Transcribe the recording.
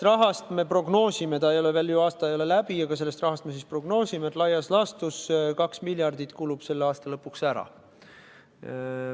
Ja me prognoosime – aasta ei ole veel ju läbi –, et sellest rahast laias laastus 2 miljardit kulub selle aasta lõpuks ära.